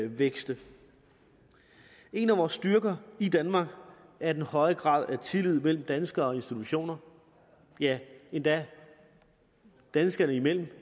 vækste en af vores styrker i danmark er den høje grad af tillid mellem danskere og institutioner ja endda danskerne imellem